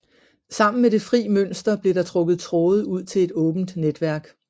Sammen med det fri mønster blev der trukket tråde ud til et åbent netværk